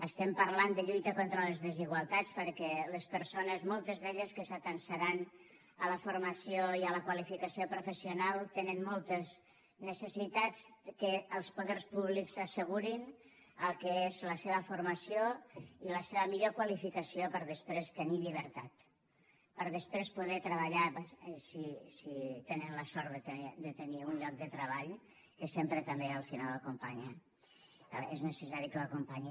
estem parlant de lluita contra les desigualtats perquè les persones moltes d’elles que s’atansaran a la formació i a la qualificació professional tenen moltes necessitats que els poders públics assegurin el que és la seva formació i la seva millor qualificació per després tenir llibertat per després poder treballar si tenen la sort de tenir un lloc de treball que sempre també al final acompanya o és necessari que ho acompanyi